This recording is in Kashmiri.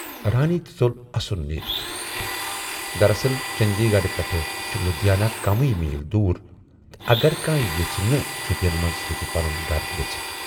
رانی تہِ ژول اَسُن نیٖرِتھ۔ دراصل چندی گڑھ پٮ۪ٹھٕ چھُ لدھیانہٕ کمٕے میٖل دوٗر تہٕ اگر کانہہ یژھِ تہٕ چھُٹین منز ہیکہِ پنُن گرٕ گژھِتھ۔